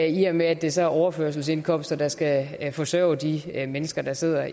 i og med at det så er overførselsindkomster der skal forsørge de mennesker der sidder